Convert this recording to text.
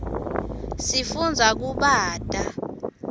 sifundza kubata